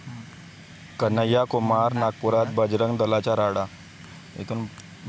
कन्हैया कुमार नागपुरात, बजरंग दलाचा राडा